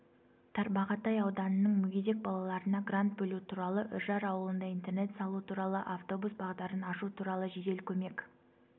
тарбағатай ауданының мүгедек балаларына грант бөлу туралы үржар ауылында интернат салу туралы автобус бағдарын ашу туралы жедел көмек